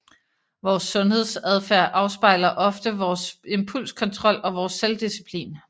Vores sundhedsadfærd afspejler ofte vores impulskontrol og vores selvdisciplin